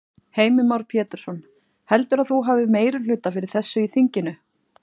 Heimir Már Pétursson: Heldurðu að þú hafi meirihluta fyrir þessu í þinginu?